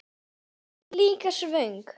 Samt líka svöng.